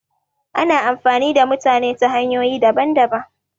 Ana amfani da mutane ta hanyoyi daban daban